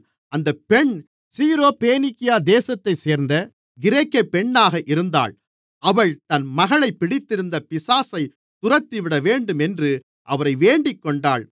அந்தப் பெண் சீரோபேனிக்கியா தேசத்தைச் சேர்ந்த கிரேக்கப் பெண்ணாக இருந்தாள் அவள் தன் மகளைப் பிடித்திருந்த பிசாசைத் துரத்திவிடவேண்டும் என்று அவரை வேண்டிக்கொண்டாள்